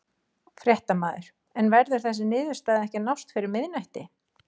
Fréttamaður: En verður þessi niðurstaða ekki að nást fyrir miðnætti?